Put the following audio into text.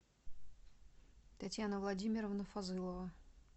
татьяна владимировна фазылова